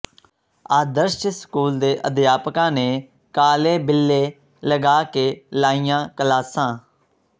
ਆਦਰਸ਼ school ਦੇ ਅਧਿਆਪਕਾਂ ਨੇ ਕਾਲੇ ਬਿੱਲੇ ਲਗਾ ਕੇ ਲਾਈਆਂ ਕਲਾਸਾਂ